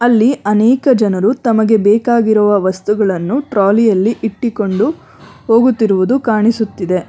ಅಲ್ಲಿ ಅನೇಕ ಜನರು ತಮಗೆ ಬೇಕಾಗಿರುವ ವಸ್ತುಗಳನ್ನು ಟ್ರೋಲಿ ಯಲ್ಲಿ ಇಟ್ಟಿಕೊಂಡು ಹೋಗುತ್ತಿರುವುದು ಕಾಣಿಸುತ್ತಿದೆ.